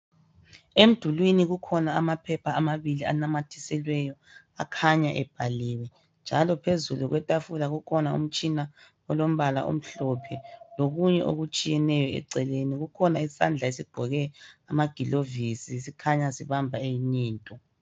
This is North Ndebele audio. Emdulwini kukhona amaphepha amabili anamathiselweyo akhanya ebhaliwe. Njalo phezulu kwetafula, kukhona umtshina olombala omhlophe lokunye okutshiyeneyo eceleni. Kukhona isandla esigqoke amagilovisi sikhanya sibamba eyinye into.